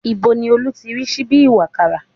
Ibo ni Olú ti rí síbí ìwàkàrà?